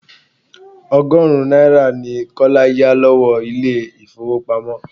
Ọgọ́rùn-ún náírà ni Kọ́lá yà lọ́wọ́ ilé ifowopamo.